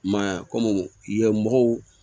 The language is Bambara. I m'a ye wa komi ye mɔgɔw